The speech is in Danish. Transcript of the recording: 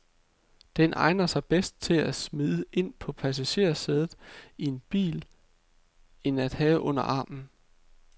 Den egner sig bedre til at smide ind på passagersædet i en bil end at have under armen.